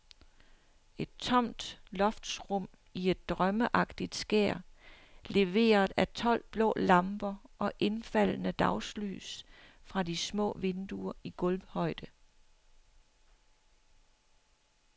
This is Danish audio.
Et tomt loftsrum i et drømmeagtigt skær leveret af tolv blå lamper og indfaldende dagslys fra de små vinduer i gulvhøjde.